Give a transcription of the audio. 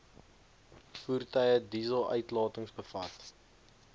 voertuie dieseluitlatings bevat